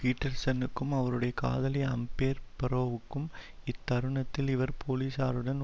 பீட்டர்சன்னுக்கும் அவருடைய காதலி அம்பெர் பரோவுக்கும் இத்தருணத்தில் இவர் போலீசாருடன்